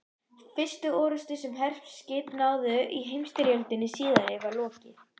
Fyrstu orrustu, sem herskip háðu í heimsstyrjöldinni síðari, var lokið